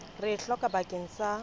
re e hlokang bakeng sa